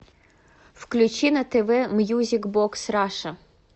включи на тв мьюзик бокс раша